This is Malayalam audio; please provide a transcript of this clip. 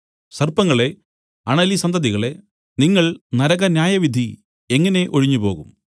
സർപ്പങ്ങളേ അണലിസന്തതികളേ നിങ്ങൾ നരകന്യായവിധി എങ്ങനെ ഒഴിഞ്ഞുപോകും